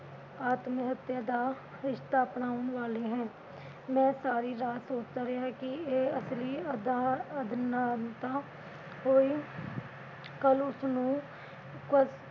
ਆਤਮਹੱਤਿਆ ਦਾ ਰਸਤਾ ਅਪਣਾਉਣ ਵਾਲੇ ਹੈ। ਮੈਂ ਸਾਰੀ ਰਾਤ ਸੋਚਦਾ ਰਿਹਾ ਕਿ ਇਹ ਅਸਲੀ ਅਦਨਾਨਤਾ ਹੋਈ। ਕੱਲ ਉਸਨੂੰ